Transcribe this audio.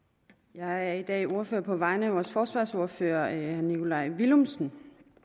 jeg er i dag ordfører på vegne af vores forsvarsordfører herre nikolaj villumsen